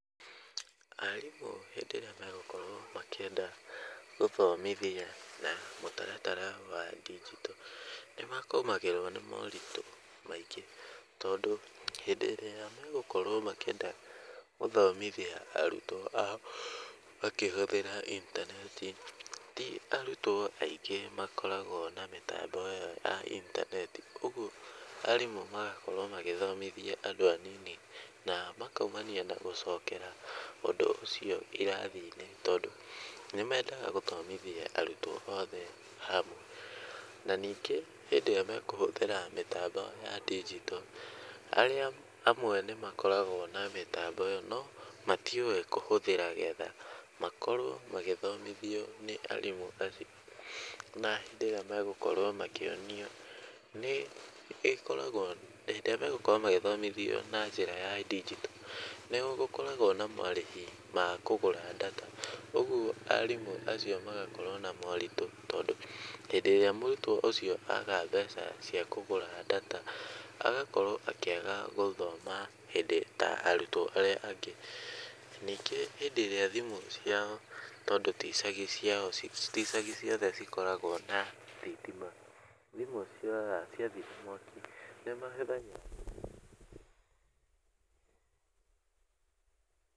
Arimũ hĩndĩ ĩrĩa megũkorwo makĩenda gũthomithia na mũtaratara wa ndinjito nĩ magũmagĩrwo nĩ molritũ maingĩ tondũ hĩndĩ ĩrĩa mekwenda gũthomithia arutwo ao makĩhũthĩra intaneti, ti arutwo aingĩ makoragwo na mĩtambo ĩyo ya intaneti. Ũguo arimũ magakorwo magĩthomithia andũ anini na makoima na gũcokera ũndũ ũcio irathi-inĩ, tondũ nĩ mendaga gũthomithia arutwo othe hamwe. Na ningĩ hĩndĩ ĩrĩa mekũhũthĩra mĩtambo ya ndigito, arĩa amwe nĩ makoragwo na mĩtambo ĩyo no matiũĩ kũhũthĩra getha makorwo magĩthomithio nĩ arimũ acio. Na hĩndĩ ĩrĩa megũkorwo makĩonio nĩ ĩkoragwo, hĩndĩ ĩrĩa megũkorwo magĩthomithio na njĩra ya ndinjito nĩ gũkoragwo na marĩhi ma kũgũra data ũguo arimũ acio magakorwo na moritũ tondũ hĩndĩ ĩrĩa mũrutwo ũcio aga mbeca cia kũgũra data agakorwo akĩaga gũthoma hĩndĩ ta arutwo arĩa angĩ. Ningĩ hĩndĩ ĩrĩa thimũ ciao tondũ ti icagi ciao, ti icagi ciothe cikoragwo na thitima, thimũ ciora, ciathira mwaki nĩ mahũthagĩra.